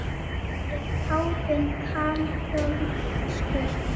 Er páfinn kaþólskur?